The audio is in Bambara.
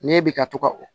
Ne bɛ ka to ka o